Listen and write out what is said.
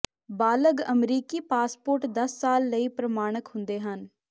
ਬਾਲਗ਼ ਅਮਰੀਕੀ ਪਾਸਪੋਰਟ ਦਸ ਸਾਲ ਲਈ ਪ੍ਰਮਾਣਕ ਹੁੰਦੇ ਹਨ